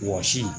Wɔsi